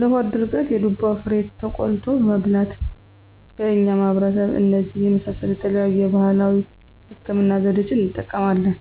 -ለሆድ ድርቀት የዱባ ፍሬ ተቆልቶ መብላት በእኛ ማህበረሰብ እነዚህን የመሳሰሉ የተለያዩ የባህላዊ ህክምና ዘዴዋችን እንጠቀማለን።